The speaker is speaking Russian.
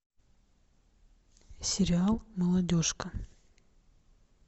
сериал молодежка